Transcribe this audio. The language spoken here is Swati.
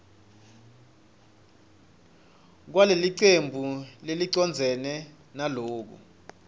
kwalelicembu lelicondzene naloku